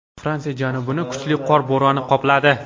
Fransiya janubini kuchli qor bo‘roni qopladi.